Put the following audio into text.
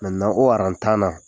o tan na